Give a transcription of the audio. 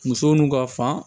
Muso n'u ka fan